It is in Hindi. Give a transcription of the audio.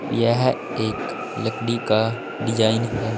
यह एक लकड़ी का डिजाइन है।